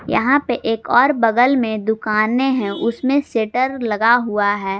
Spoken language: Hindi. यहां पे एक और बगल में दुकानें हैं उसमें शटर लगा हुआ है।